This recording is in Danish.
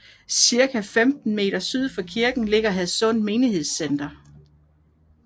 Cirka 15 meter syd for kirken ligger Hadsund Menighedscenter